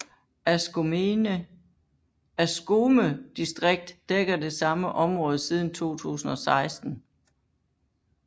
Askome distrikt dækker det samme område siden 2016